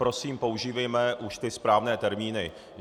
Prosím, používejme už ty správné termíny.